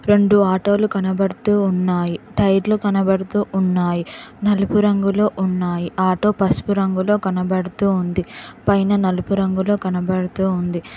రెండు ఆటో లు కనబడుతూ ఉన్నాయి టైర్ లు కనబడుతూ ఉన్నాయి. నలుపు రంగులో ఉన్నాయి ఆటో పసుపు రంగులో కనబడుతూ ఉంది. పైన నలుపు రంగులో కనబడుతూ ఉంది.